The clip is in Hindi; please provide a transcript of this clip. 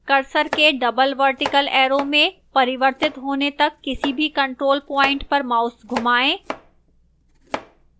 cursor के double vertical arrow में परिवर्तित होने तक किसी भी control point पर mouse घमाएं